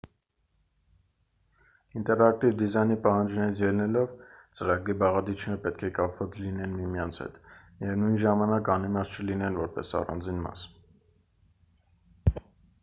ինտերակտիվ դիզայնի պահանջներից ելնելով ծրագրի բաղադրիչները պետք է կապված լինեն միմյանց հետ միևնույն ժամանակ անիմաստ չլինեն որպես առանձին մաս